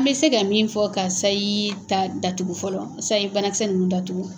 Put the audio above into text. N bɛ se ka min fɔ ka sayi ta datugu fɔlɔ, sayi banakisɛ ninnu datugu.